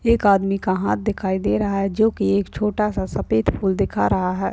एक आदमी का हाथ दिखाई दे रहा है जो की एक छोटा सा सफेद फूल दिखा रहा है।